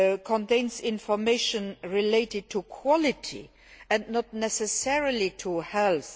contains information related to quality and not necessarily to health.